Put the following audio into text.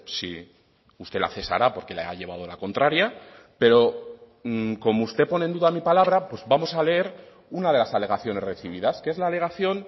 si usted la cesará porque la ha llevado la contraria pero como usted pone en duda mi palabra pues vamos a leer una de las alegaciones recibidas que es la alegación